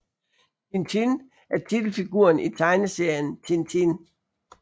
Tintin er titelfiguren i tegneserien Tintin